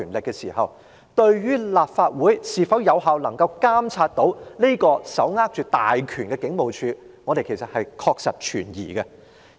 那麼，我們對立法會是否能夠有效監察這個手握大權的警務處確實是存疑的。